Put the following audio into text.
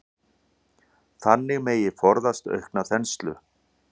Þannig megi forðast aukna þenslu.